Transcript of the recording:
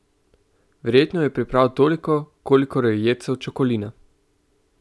Verjetno je priprav toliko, kolikor je jedcev Čokolina!